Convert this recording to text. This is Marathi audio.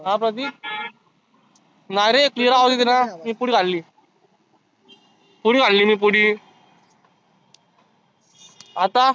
अं प्रतीक नाहीरे clear आवाज येतोयना मी पुडी खाल्ली. पुडी खाली मी पुडी. आता?